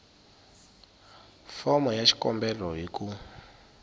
fomo ya xikombelo hi ku